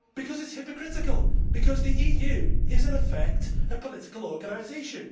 It is hypocritical, because the EU is in effect a political organisation.